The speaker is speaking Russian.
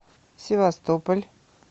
севастополь